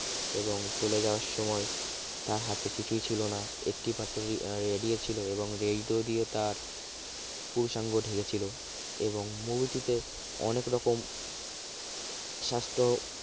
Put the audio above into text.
এবং চলে যাওয়ার সময় তার হাতে কিছুই ছিল না একটিমাত্র radio ছিল এবং radio দিয়ে তার পুরুষাঙ্গ ঢেকেছিল এবং movie টিতে অনেক রকম স্বাস্থ্য